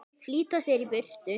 Flýta sér í burtu.